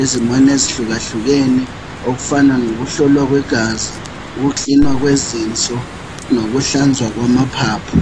ezimeni ezihlukahlukene okufana lokuhlolwa kwegazi ukukilinwa kwezinso nokuhlanzwa kwamaphaphu